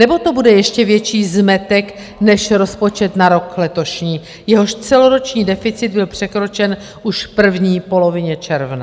Nebo to bude ještě větší zmetek než rozpočet na rok letošní, jehož celoroční deficit byl překročen už v první polovině června?